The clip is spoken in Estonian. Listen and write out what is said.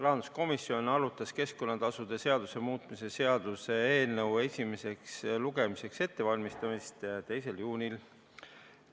Rahanduskomisjon arutas keskkonnatasude seaduse muutmise seaduse eelnõu 204 esimeseks lugemiseks ettevalmistamist 2. juunil.